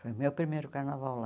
Foi o meu primeiro carnaval lá.